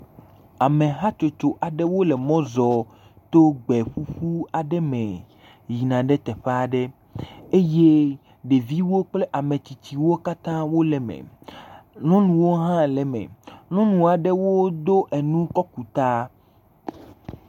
Amehatsotso aɖe wole mɔ zɔɔ to gbe ƒuƒu aɖe me yina ɖe teƒe aɖe eye ɖeviwo kple ametsitsiwo katã wole eme. Nyɔnuwo hã le eme. Nyɔnu aɖewo do enu kɔ ku ta.